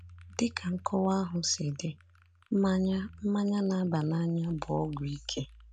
Dị ka nkọwa ahụ si dị, mmanya mmanya na-aba n’anya bụ ọgwụ ike.